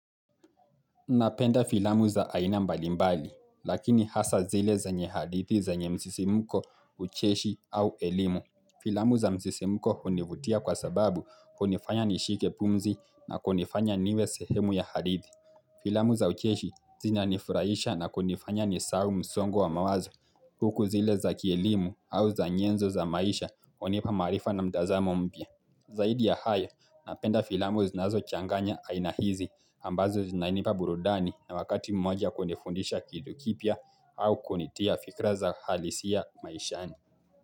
Napenda filamu za aina mbalimbali, lakini hasa zile zenye hadithi zenye msisimuko, ucheshi au elimu. Filamu za msisimuko hunivutia kwa sababu hunifanya nishike pumzi na kunifanya niwe sehemu ya hadithi. Filamu za ucheshi zina nifurahisha na kunifanya nisahau msongo wa mawazo. Huku zile za kielimu au za nyenzo za maisha hunipa maarifa na mtazamo mapya. Zaidi ya haya, napenda filamu zinazo changanya aina hizi ambazo zinainipa burudani na wakati mmoja kunifundisha kitu kipya au kunitia fikra za halisi ya maishani.